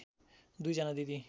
दुई जना दिदी